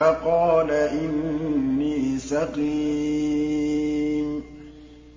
فَقَالَ إِنِّي سَقِيمٌ